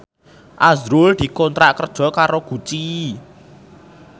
azrul dikontrak kerja karo Gucci